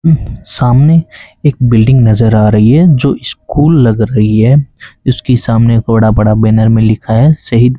सामने एक बिल्डिंग नजर आ रही है जो स्कूल लग रही है इसके सामने एक बड़ा बड़ा बैनर में लिखा है शहीद--